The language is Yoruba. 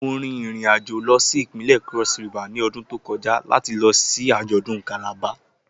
Mo rin irin ajo lọ si ipinlẹ Cross River ni ọdun to kọja lati lọ si ajọdun Calabar.